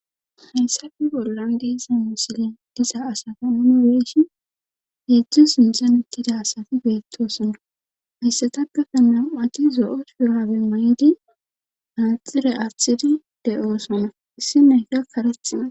Hayssappe bollan diza misile diza asata nuuni be'ishin heedzdzu sinthan utida asati beetosona. Hayssatappekka nam'ati zo'o shuraabe mayidi manaxire aatidi de'oosona. issi nayiya kareththi mayawus.